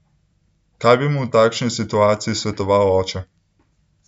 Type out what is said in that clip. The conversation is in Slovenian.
Kaj bi mu v takšni situaciji svetoval oče?